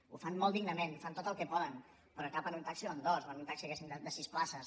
ho fan molt dignament fan tot el que poden però cap en un taxi o en dos o en un taxi diguem ne de sis places